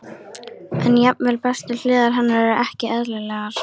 En jafnvel bestu hliðar hennar eru ekki eðlilegar.